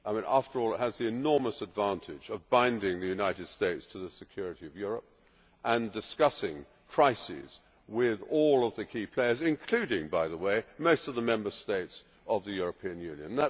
way. After all, it has the enormous advantage of binding the United States to the security of Europe and discussing crises with all of the key players including, by the way, most of the Member States of the European Union.